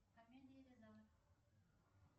комедии рязанов